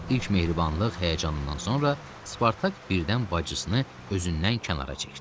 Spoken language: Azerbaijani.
İlk mehribanılıq həyəcanından sonra Spartak birdən bacısını özündən kənara çəkdi.